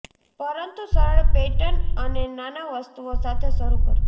પરંતુ સરળ પેટર્ન અને નાના વસ્તુઓ સાથે શરૂ કરો